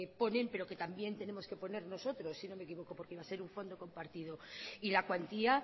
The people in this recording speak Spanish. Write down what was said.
ponen pero que también tenemos que poner nosotros si no me equivoco porque iba a ser un fondo compartido y la cuantía